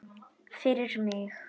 Fyrir mig.